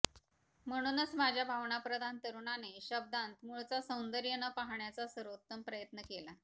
म्हणूनच माझ्या भावनाप्रधान तरुणाने शब्दांत मूळचा सौंदर्य न पाहण्याचा सर्वोत्तम प्रयत्न केला